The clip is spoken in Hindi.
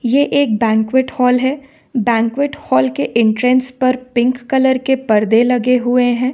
ये एक बैंक्वेट हॉल है बैंक्वेट हॉल के एंट्रेंस पर पिंक कलर के परदे लगे हुए हैं।